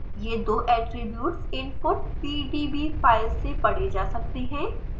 ये दो attributes input pdb file से पढ़े जा सकते हैं